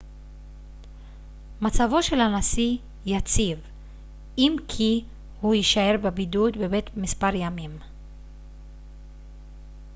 מצבו של הנשיא יציב אם כי הוא יישאר בבידוד בבית מספר ימים